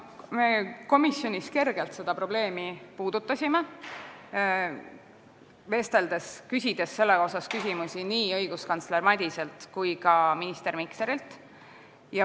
Me komisjonis kergelt puudutasime seda probleemi, küsides selle kohta küsimusi nii õiguskantsler Madiselt kui ka minister Mikserilt.